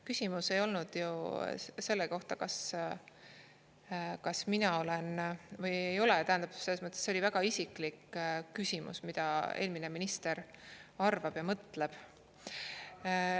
Küsimus ei olnud ju selle kohta, kas mina olen või ei ole, tähendab, selles mõttes, et see oli väga isiklik küsimus, mida eelmine minister arvab ja mõtleb.